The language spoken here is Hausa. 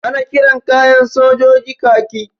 Ana kiran kayan sojoji kaki.